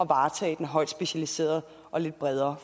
varetage den højt specialiserede og lidt bredere